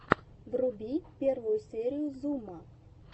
вруби первую серию зума